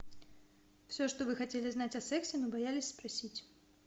все что вы хотели знать о сексе но боялись спросить